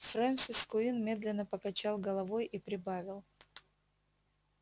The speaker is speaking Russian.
фрэнсис куинн медленно покачал головой и прибавил